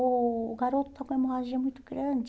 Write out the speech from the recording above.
O o garoto está com hemorragia muito grande.